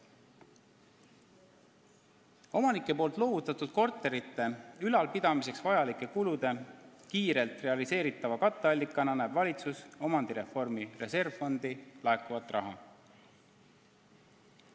Omanike loovutatud korterite ülalpidamiseks vajalike kulude kiirelt realiseeritava katteallikana näeb valitsus omandireformi reservfondi laekuvat raha.